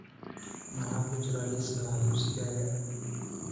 maxaa ku jira liiska wax iibsigayga